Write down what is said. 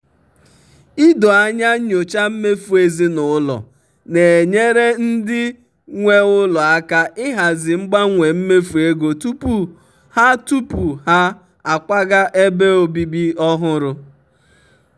ido anya nyochaa mmefu ezinụlọ na-enyere ndị nwe ụlọ aka ịhazi mgbanwe mmefu ego tupu ha tupu ha akwaga ebe obibi ọhụrụ.